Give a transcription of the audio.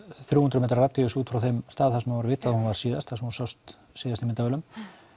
þrjú hundruð m radíus út frá þar sem er vitað að hún var síðast hún sást síðast í myndavélum